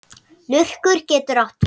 Lurkur getur átt við